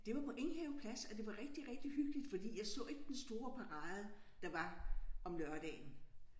Det var på Enghave Plads og det var rigtig rigtig hyggeligt fordi jeg så ikke den store parade der var om lørdagen